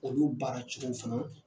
Olu baara cogow fana